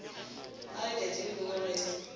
ka letšatši le lengwe ge